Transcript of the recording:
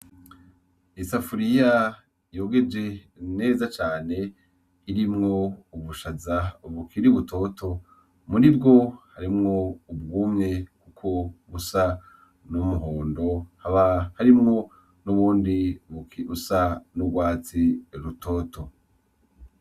Isafuriya yogeje neza cane irimwo ubushaza bukiri butoto. Muri bwo, harimwo ubwumye bwo busa n'umuhondo hakaba harimwo n'ubundi buke bwo n'urwatsi rutoto.